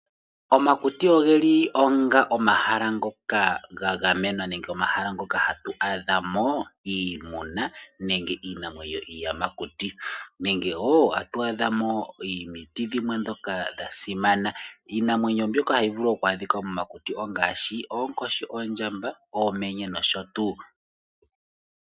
Omakuti ogeli omahala ngoka ga gamenwa nenge omahala ngoka hatu adhamo iimuna nenge iinamwenyo iiyamakuti. Nenge woo tatu adha mo omiti dhimwe ndhoka dha simana. Iinamwenyo mbyoka hayi vulu oku adhika momakuti ongaashi oonkoshi, oondjamba, oomenye nosho tuu.